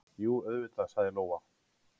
Jú, auðvitað, sagði Lóa.